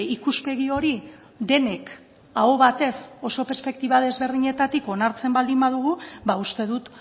ikuspegi hori denek aho batez oso perspektiba desberdinetatik onartzen baldin badugu ba uste dut